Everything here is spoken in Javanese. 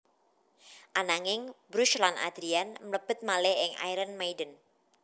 Ananging Bruce lan Adrian mlebet malih ing Iron Maiden